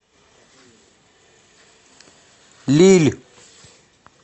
лилль